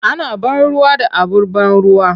Ana ban ruwa da abar ban ruwa.